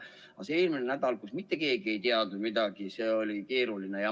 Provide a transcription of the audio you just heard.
Aga eelmine nädal, kui mitte keegi ei teadnud midagi – see oli keeruline.